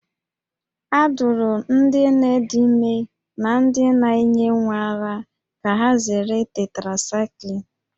A dụrụ ndị nne dị ime na ndị na-enye nwa ara ka ha zere tetracaịklin